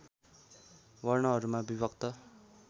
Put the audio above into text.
वर्णहरूमा विभक्त